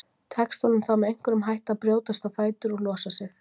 Tekst honum þá með einhverjum hætti að brjótast á fætur og losa sig.